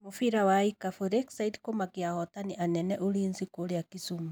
Mũbira wa ikabũ:Lakeside kũmakia ahootani anene Ulinzi kũrĩa Kisumu.